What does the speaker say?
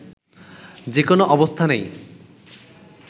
যেকোনো অবস্থানেই